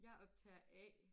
Jeg optager A